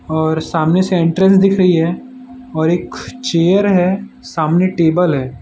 और सामने से एंट्रेंस दिख रही है और एक चेयर है सामने टेबल है।